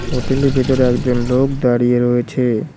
হোটেলের ভিতরে একজন লোক দাঁড়িয়ে রয়েছে।